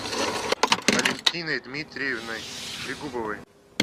алефтиной дмитриевной трегубовой